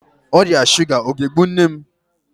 Ọrịa shuga ọ ga-egbu nne m?